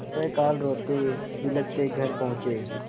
प्रातःकाल रोतेबिलखते घर पहुँचे